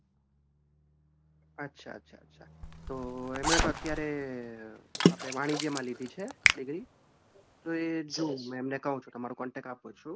અચ્છા અચ્છા અચ્છા તો એમને તો અત્યારે આપણે વાણિજ્યમાં લીધી છે degree તો એ જોવો એમને કવ છું તમારો contact આપું છું.